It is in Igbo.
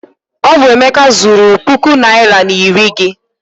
Ọ bụ Emeka zuuru puku naịra na iri gị.